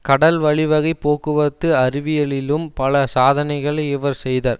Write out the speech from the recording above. கடல் வழிவகைப் போக்குவரத்து அறிவியலிலும் பல சாதனைகளை இவர் செய்தர்